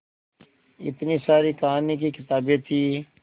इतनी सारी कहानी की किताबें थीं